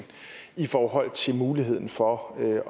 i forhold til muligheden for at